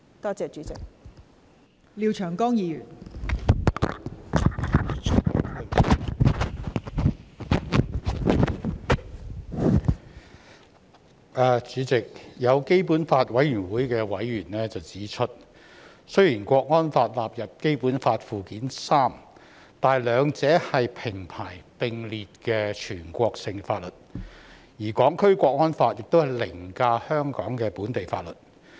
代理主席，有基本法委員會的委員指出，雖然《港區國安法》納入《基本法》附件三，但兩者是平排並列的全國性法律，而《港區國安法》凌駕香港的本地法律。